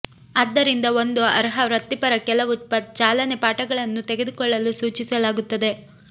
ಆದ್ದರಿಂದ ಒಂದು ಅರ್ಹ ವೃತ್ತಿಪರ ಕೆಲವು ಚಾಲನೆ ಪಾಠಗಳನ್ನು ತೆಗೆದುಕೊಳ್ಳಲು ಸೂಚಿಸಲಾಗುತ್ತದೆ